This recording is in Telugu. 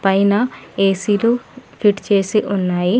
అయినా ఏ_సీలు ఫిట్ చేసి ఉన్నాయి.